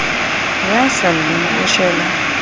ya sa lleng o shwela